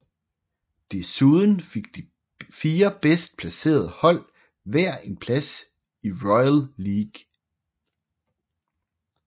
Desuden fik de fire bedst placerede hold hver en plads i Royal League